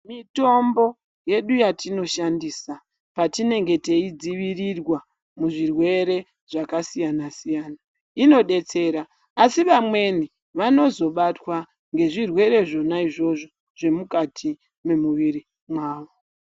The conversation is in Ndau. Mitombo yedu yatinoshandiswa patinenge yeidzivirirwa muzvirwere zvakasiyana siyana inodetsera asi vamweni vanozobatwa nezvirwere zvona izvozvo zvemukati memumwiri mawo.